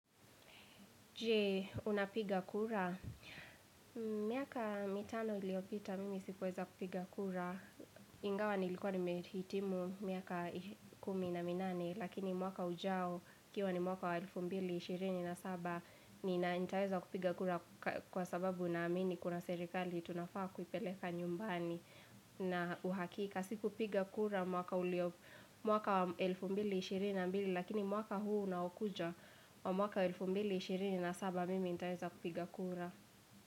Jee, unapiga kura? Miaka mitano iliyopita, mimi sikuweza kupiga kura. Ingawa nilikuwa nimehitimu miaka kumi na minane, lakini mwaka ujao, ikiwa ni mwaka wa 2027, nitaweza kupiga kura kwa sababu naamini kuna serikali, tunafaa kuipeleka nyumbani na uhakika. Sikupiga kura mwaka wa 2022, lakini mwaka huu unaokuja, wa mwaka 2027 mimi nitaweza kupiga kura.